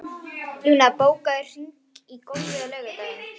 Luna, bókaðu hring í golf á laugardaginn.